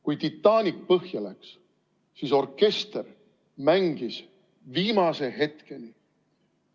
Kui Titanic põhja läks, siis orkester mängis viimase hetkeni.